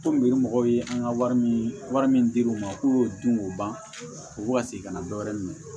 Komi yiri mɔgɔw ye an ka wari min wari min dir'u ma k'u dun k'u ban u bɛ ka segin ka na dɔ wɛrɛ minɛ